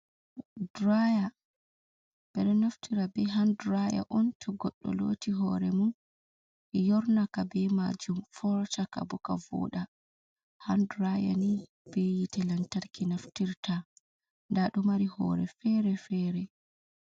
"Diraya" ɓeɗo naftira hand diraya on to goɗdo loti hore mum yornaka be majum fortaka bo ka voɗa hand diraya ni be yiite lantarki naftirta nda do mari hore fere fere.